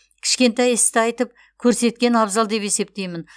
кішкентай істі айтып көрсеткен абзал деп есептеймін